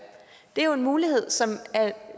det er jo en mulighed som er